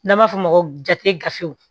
N'an b'a f'o ma jate gafew